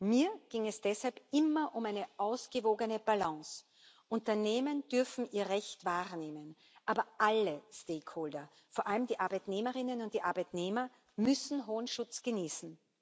Mir ging es deshalb immer um eine ausgewogene Balance Unternehmen dürfen ihr Recht wahrnehmen, aber alle stakeholder vor allem die Arbeitnehmerinnen und die Arbeitnehmer müssen hohen Schutz genießen.